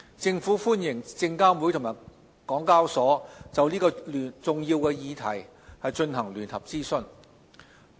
政府歡迎證監會與港交所就這個重要的課題進行聯合諮詢。